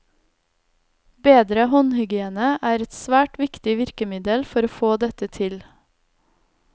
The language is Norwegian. Bedre håndhygiene er et svært viktig virkemiddel for å få dette til.